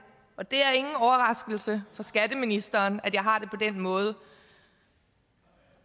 og det er ingen overraskelse for skatteministeren at jeg har det på den måde